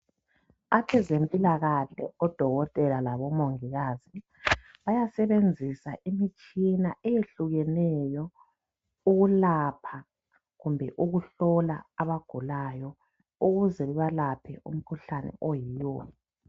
Abezempilakhle odokotela labomongikazi bayasebenzisa imitshina eyehlukeneyo ukulapha kumbe ukuhlola abagulayo ukuze babalaphe umkhuhlane oyiyo